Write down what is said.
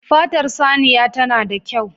Fatar saniya ta na da kyau